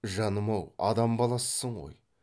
жаным ау адам баласысың ғой